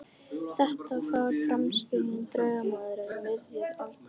Þetta var framsækinn dugnaðarmaður við miðjan aldur.